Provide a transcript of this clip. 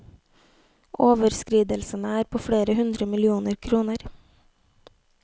Overskridelsene er på flere hundre millioner kroner.